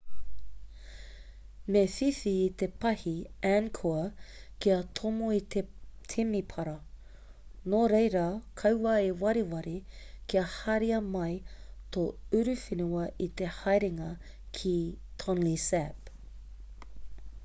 me whiwhi i te pāhi angkor kia tomo i te temepara nōreira kaua e wareware kia haria mai tō uruwhenua i te haerenga ki tonle sap